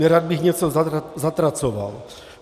Nerad bych něco zatracoval.